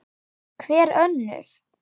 Hver önnur?